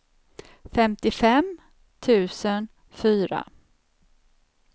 femtiofem tusen fyra